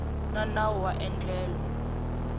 xa nawu wa endlelo ra